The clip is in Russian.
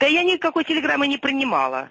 да я никакой телеграммы не принимала